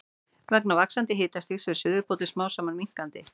Vegna vaxandi hitastigs fer suðurpóllinn smám saman minnkandi.